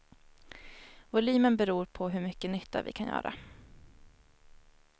Volymen beror på hur mycket nytta vi kan göra.